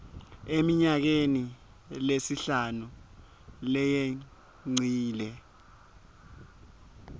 eminyakeni lesihlanu leyengcile